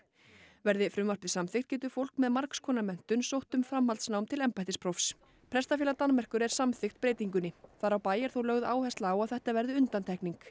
verði frumvarpið samþykkt getur fólk með margs konar menntun sótt um framhaldsnám til embættisprófs prestafélag Danmerkur er samþykkt breytingunni þar á bæ er þó lögð áhersla á að þetta verði undantekning